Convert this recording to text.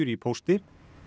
í pósti